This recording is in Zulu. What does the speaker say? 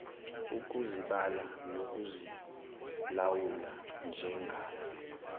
ukuzibala nokuzilawula njengalo